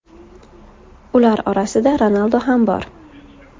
Ular orasida Ronaldu ham bor.